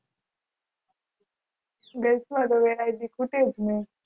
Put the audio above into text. Girls માં તો કે ખૂટે જ નય